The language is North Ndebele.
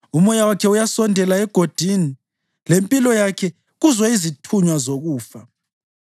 Umoya wakhe uyasondela egodini, lempilo yakhe kuzo izithunywa zokufa.